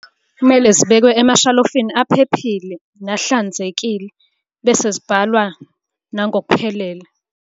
Kumele zibekwe emashalofini aphephile nahlanzekile, bese zibhalwa nangokuphelele.